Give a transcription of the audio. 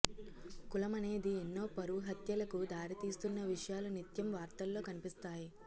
కులమనేది ఎన్నో పరువు హత్యలకు దారి తీస్తున్న విషయాలు నిత్యం వార్తల్లో కనిపిస్తాయి